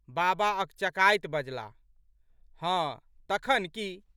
बाबा अकचकाइत बजलाह। हँ, तखन की?